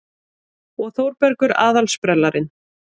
Og Þórbergur aðal-sprellarinn.